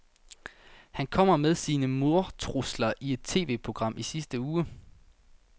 Han kom med sine mordtrusler i et TVprogram i sidste uge.